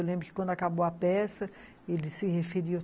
Eu lembro que, quando acabou a peça, ele se referiu.